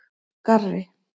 Garri